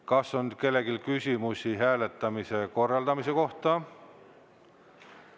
Kas on kellelgi küsimusi hääletamise korraldamise kohta?